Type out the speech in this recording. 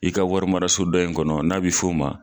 I ka wari maraso dɔ in kɔnɔ, n'a bi f'o ma